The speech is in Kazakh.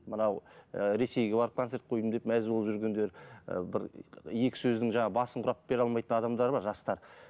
мынау і ресейге барып концерт қойдым деп мәз боп жүргендер ы бір екі сөздің жаңағы басын құрап бере алмайтын адамдар бар жастар